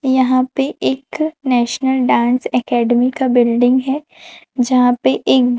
यहाँ पे एक नेशनल डांस एकेडमी का बिल्डिंग है जहां पे एक--